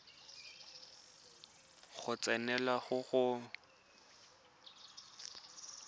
go tsenelela go go golang